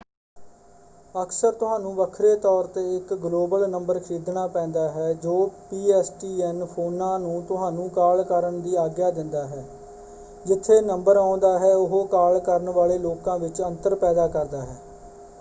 ਅਕਸਰ ਤੁਹਾਨੂੰ ਵੱਖਰੇ ਤੌਰ 'ਤੇ ਇੱਕ ਗਲੋਬਲ ਨੰਬਰ ਖਰੀਦਣਾ ਪੈਂਦਾ ਹੈ ਜੋ ਪੀ.ਐੱਸ.ਟੀ.ਐੱਨ. ਫ਼ੋਨਾਂ ਨੂੰ ਤੁਹਾਨੂੰ ਕਾਲ ਕਰਨ ਦੀ ਆਗਿਆ ਦਿੰਦਾ ਹੈ। ਜਿਥੇ ਨੰਬਰ ਆਉਂਦਾ ਹੈ ਉਹ ਕਾਲ ਕਰਨ ਵਾਲੇ ਲੋਕਾਂ ਵਿੱਚ ਅੰਤਰ ਪੈਦਾ ਕਰਦਾ ਹੈ।